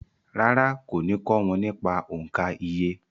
Rárá, kò ní kọ́ wọn nípa òǹkà iye